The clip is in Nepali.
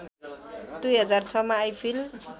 २००६ मा आइफिल